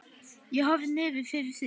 Ég horfi niður fyrir mig.